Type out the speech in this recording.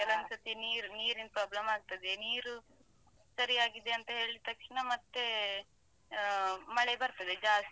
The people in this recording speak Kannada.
ಕೆಲವೊಂದ್ಸತಿ ನೀರು ನೀರಿನ್ problem ಆಗ್ತದೆ ನೀರು ಸರಿಯಾಗಿದೆ ಅಂತ ಹೇಳಿದ್ ತಕ್ಷ್ಣ ಮತ್ತೆ ಅಹ್ ಮತ್ತೆ ಮಳೆ ಬರ್ತದೆ ಜಾಸ್ತಿ.